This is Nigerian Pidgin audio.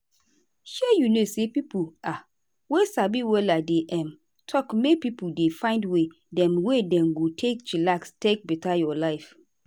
shey you know say pipo um wey sabi wella dey um talk make pipo dey find way dem wey dem go take chillax take beta your life.